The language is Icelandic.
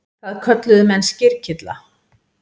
Það kölluðu menn skyrkylla.